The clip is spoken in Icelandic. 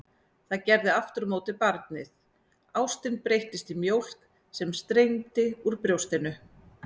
Það gerði aftur á móti barnið, ástin breyttist í mjólk sem streymdi úr brjóstinu.